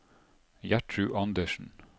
Gjertrud Anderssen